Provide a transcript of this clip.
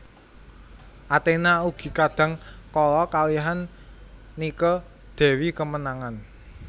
Athena ugi kadang kala kalihan Nike dewi kemenangan